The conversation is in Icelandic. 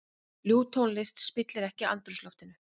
Ljúf tónlist spillir ekki andrúmsloftinu.